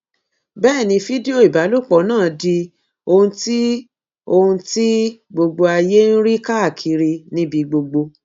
bẹẹ ni fídíò ìbálòpọ náà di ohun tí ohun tí gbogbo ayé ń rí káàkiri níbi gbogbo